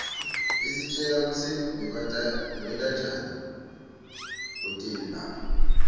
isitjela kutsi babentanjani kwetelu lapha